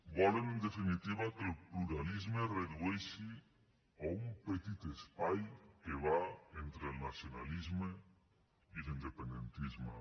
volen en definitiva que el pluralisme es redueixi a un petit espai que va entre el nacionalisme i l’independentisme